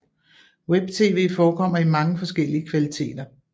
Webtv forekommer i mange forskellige kvaliteter